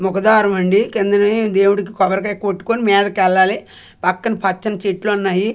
ముఖదారమండి కిందనే దేవుడికి కొబ్బరికాయ కొట్టుకొని మీదకెల్లాలి పక్కన పచ్చని చెట్లున్నాయి.